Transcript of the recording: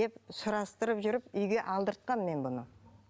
деп сұрастырып жүріп үйге алдыртқанмын мен бұны